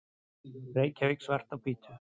Reykjavík, Svart á hvítu.